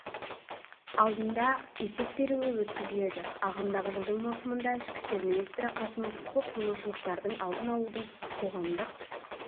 алдында есеп беруі өткізіледі ағымдағы жылдың маусымында ішкі істер министрі қасымов құқық бұзушылықтардың алдын-алудың қоғамдық